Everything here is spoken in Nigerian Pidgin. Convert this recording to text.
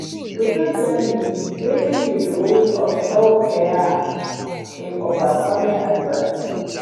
you fit tell me wetin be di role of self-care in overcoming adversity?